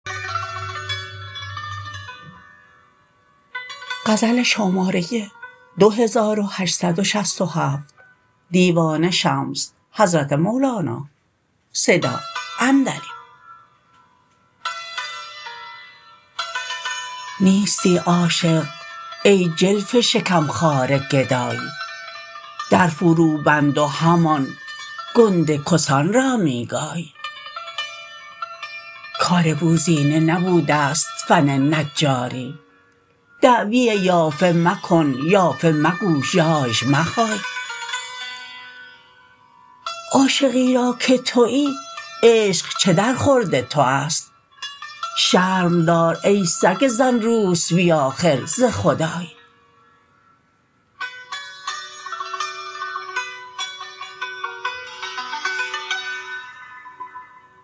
نیستی عاشق ای جلف شکم خوار گدای در فروبند و همان گنده کسان را می گای کار بوزینه نبوده ست فن نجاری دعوی یافه مکن یافه مگو ژاژ مخای عاشقی را تو کیی عشق چه درخورد توست شرم دار ای سگ زن روسبی آخر ز خدای